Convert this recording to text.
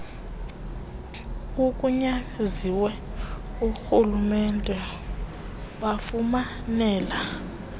oogunyaziwe borhulumente bafumanele